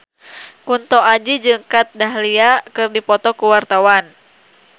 Kunto Aji jeung Kat Dahlia keur dipoto ku wartawan